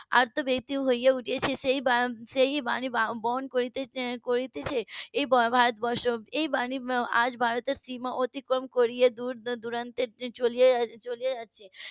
ব্যাকুল হয়ে উঠেছে সেই বাণী বহন করতে~ করছে এই ভারতবর্ষ এই বাণী আজ ভারতের সীমা অতিক্রম করে দূরদূরান্তে চলে যাচ্ছে